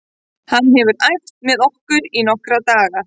Hann hefur æft með okkur í nokkra daga.